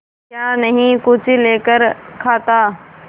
क्या नहीं कुछ लेकर खाता